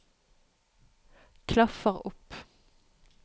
klaffer opp